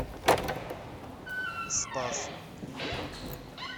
спас